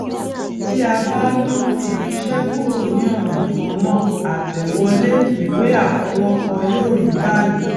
tí a bá ná irinṣẹ kúrò ní ọnà kan náà àtẹwolé ìwé àfọwọkọ yóò rí báyìí